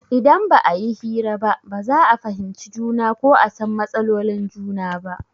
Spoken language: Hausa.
Idan ba a yi hira ba ba za a fahimci juna ko a san matsalolin juna ba.